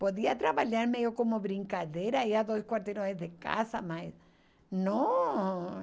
Podia trabalhar meio como brincadeira, ir a dois quarteirões de casa, mas não.